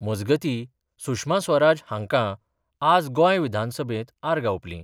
मजगतीं, सुषमा स्वराज होंकां आज गोंय विधानसभेत आर्गां ओपलीं.